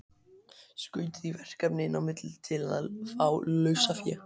Skaut því verkefni inn á milli til að fá lausafé.